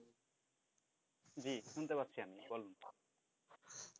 জি শুনতে পাচ্ছি আমি বলেন,